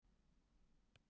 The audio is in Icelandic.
Blindast af sólinni.